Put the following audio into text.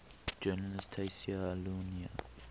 journalist tayseer allouni